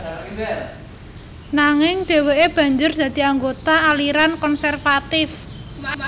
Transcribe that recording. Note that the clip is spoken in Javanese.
Nanging dhèwèké banjur dadi anggota aliran konservatif